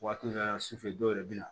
Waati dɔw la su fɛ dɔw yɛrɛ bɛ na